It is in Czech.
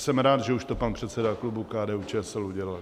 Jsem rád, že už to pan předseda klubu KDU-ČSL udělal.